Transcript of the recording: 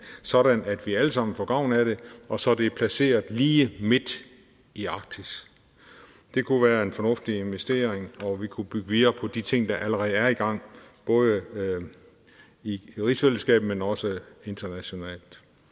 sådan at vi alle sammen får gavn af det og så det er placeret lige midt i arktis det kunne være en fornuftig investering og vi kunne bygge videre på de ting der allerede er i gang både i rigsfællesskabet men også internationalt